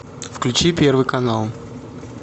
включи первый канал